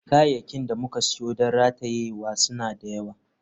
Kayayyakin da muka siyo don ratayewa suna da yawa.